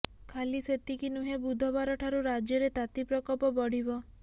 ଖାଲି ସେତିକି ନୁହେଁ ବୁଧବାର ଠାରୁ ରାଜ୍ୟରେ ତାତି ପ୍ରକୋପ ବଢ଼ିବ